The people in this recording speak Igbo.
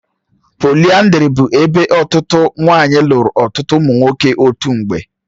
Póliyandrí bụ ebe otu nwanyị lụrụ ọtụtụ ụmụ nwoke otu mgbe.